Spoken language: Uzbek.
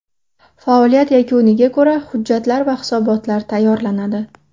Faoliyat yakuniga ko‘ra hujjatlar va hisobotlar tayyorlanadi.